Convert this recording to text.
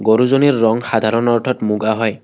গৰুজনীৰ ৰং সাধাৰণ অৰ্থত মুগা হয়।